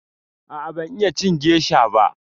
A'a ban iya cin gesha ba.